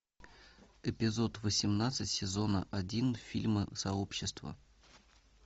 эпизод восемнадцать сезона один фильма сообщество